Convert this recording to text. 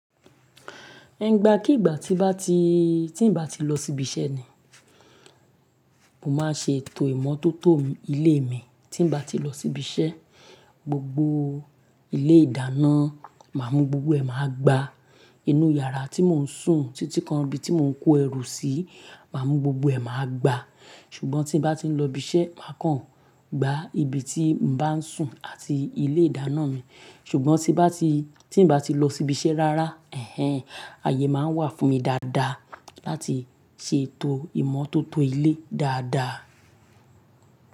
Ẹ̀ ń igba kí ìgbà tí bá ti, tí ń bá ti lọ síbi iṣẹ́ ni, mo máa ṣe ètò ìmọ́tótó ilé mi. Tí ń bá ti lọ síbi iṣẹ́, gbogbo ilé ìdáná, màá mú gbogbo ẹ̀ máa gba. Inú yàrá tí mò ń sùn, títí kan ibi tí mò ń kó ẹrù sí, màá mú gbogbo ẹ̀ máa gba. Ṣùgbọ́n tí ń bá ti ń lọ ibi iṣẹ́, máa kàn gba ibi tí n bá ń sùn àti ilé ìdáná mi. Ṣùgbọ́n tí bá ti, tí ń bá ti lọ síbi iṣẹ́ rárá, ẹ̀hen, àyè máa ń wà fún mi dáadáa láti ṣe ètò ìmọ́tótó ilé dáadáa.